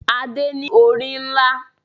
Adé ní orí ńlá.